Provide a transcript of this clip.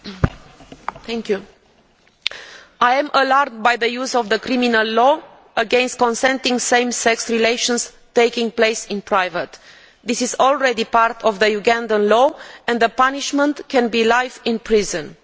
Mr President, I am alarmed by the use of criminal law against consenting same sex relations taking place in private. This is already part of Ugandan law and the punishment can be life imprisonment.